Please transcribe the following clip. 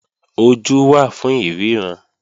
Ojú wà fún ìríran